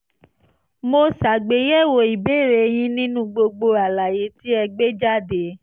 mo ṣàgbéyẹ̀wò ìbéèrè yín nínú gbogbo àlàyé tí ẹ gbé jáde